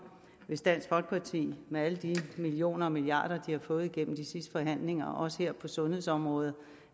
hvis dansk folkeparti med alle de millioner og milliarder de har fået gennem de sidste forhandlinger også her på sundhedsområdet